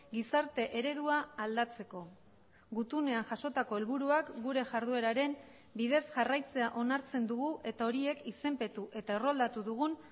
gizarte eredua aldatzeko gutunean jasotako helburuak gure jardueraren bidez jarraitzea onartzen dugu eta horiek izenpetu eta erroldatu dugun